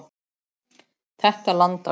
Þetta land á ég.